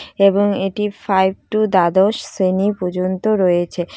এবং এটি five to দ্বাদশ শেশ্রেণী পর্যন্ত রয়েছে